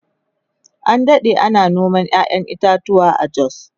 an Dade ana noman ƴaƴan itatuwa a jos